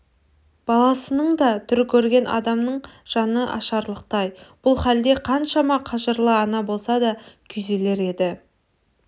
баласының да түрі көрген адамның жаны ашырлықтай бұл халде қаншама қажырлы ана болса да күйзелер еді